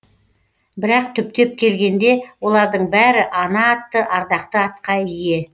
бірақ түптеп келгенде олардың бәрі ана атты ардақты атқа ие